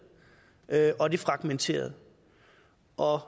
og det fragmenterede og